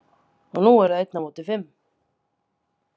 Og nú eru það einn á móti fimm